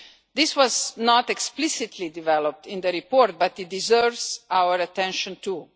This was not explicitly developed in the report, but it deserves our attention too.